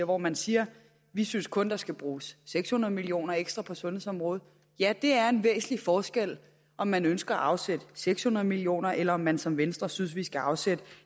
hvor man siger vi synes kun der skal bruges seks hundrede million kroner ekstra på sundhedsområdet ja det er en væsentlig forskel om man ønsker at afsætte seks hundrede million kr eller om man som venstre synes der skal afsættes